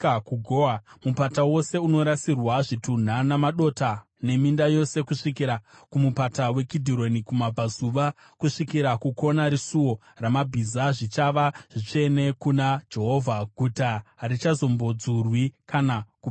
Mupata wose unorasirwa zvitunha namadota, neminda yose kusvikira kuMupata weKidhironi kumabvazuva kusvikira kukona reSuo raMabhiza, zvichava zvitsvene kuna Jehovha. Guta harichazombodzurwi kana kuparadzwazve.”